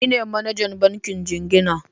Ni ne manajan bankin jingina.